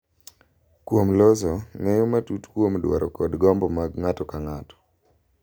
Kuom loso ng’eyo matut kuom dwaro kod gombo mag ng’ato ka ng’ato.